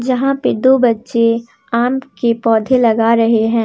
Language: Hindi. यहां पे दो बच्चे आम के पौधे लगा रहे हैं।